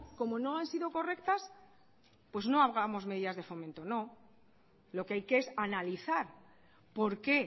como no han sido correctas pues no hagamos medidas de fomento no lo que hay que es analizar por qué